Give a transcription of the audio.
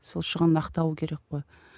сол шығынын ақтауы керек қой